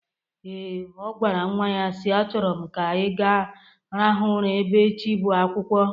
Ee, o gwara nwa ya si: Achọrọ m ka ị ga-rahụ ụra ebe echi bụ akwụkwọ